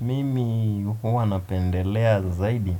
Mimi huwa napendelea zaidi